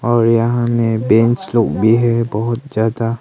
और यहां मैं बेंच लोग भी है बहुत ज्यादा।